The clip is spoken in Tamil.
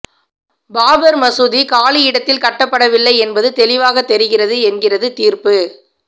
பாபர் மசூதி காலி இடத்தில் கட்டப்படவில்லை என்பது தெளிவாக தெரிகிறது என்கிறது தீர்ப்பு